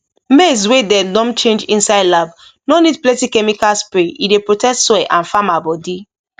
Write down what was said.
maize wey dem don change inside lab no need plenty chemical spray e dey protect soil and farmer body